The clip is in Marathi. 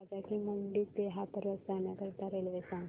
राजा की मंडी ते हाथरस जाण्यासाठी रेल्वे सांग